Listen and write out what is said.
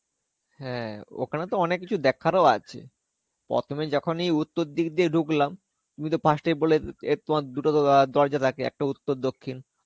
হ্যাঁ, ওখানে তো অনেক কিছু দেখারও আছে. প্রথমে যখনই উত্তর দিক দিয়ে ঢুকলাম, তুমিতো 1st এই বলে এ তমা দুটো~ তো তোমার দরজা থাকে. একটা উত্তর দক্ষিন.